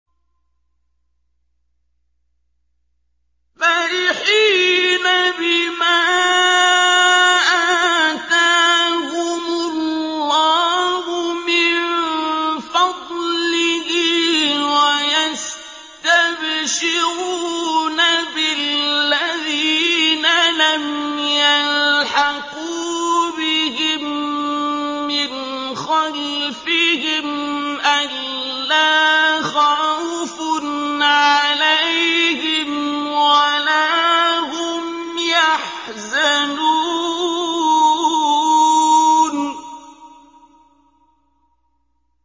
فَرِحِينَ بِمَا آتَاهُمُ اللَّهُ مِن فَضْلِهِ وَيَسْتَبْشِرُونَ بِالَّذِينَ لَمْ يَلْحَقُوا بِهِم مِّنْ خَلْفِهِمْ أَلَّا خَوْفٌ عَلَيْهِمْ وَلَا هُمْ يَحْزَنُونَ